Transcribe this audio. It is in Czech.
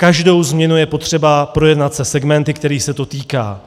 Každou změnu je potřeba projednat se segmenty, kterých se to týká.